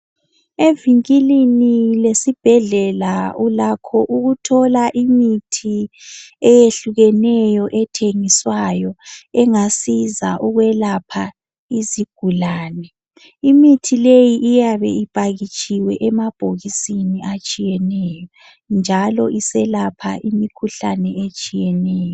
Evikilini lesibhedlela ulakho ukuthola imithi eyehlukeneyo ethengiswayo engasiza ukwelapha izigulane. Imithi leyi iyabe iphakitshiwe emabhokisini atshiyeneyo njalo iselapha imikhuhlane etshiyeneyo.